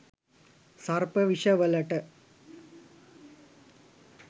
සර්ප විෂ වලට